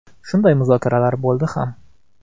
Shunday muzokaralar bo‘ldi ham.